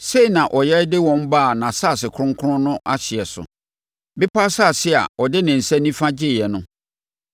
Sei na ɔyɛ de wɔn baa nʼasase kronkron no ahyeɛ so, bepɔ asase a ɔde ne nsa nifa gyeeɛ no.